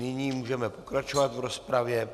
Nyní můžeme pokračovat v rozpravě.